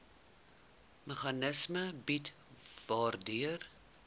meganisme bied waardeur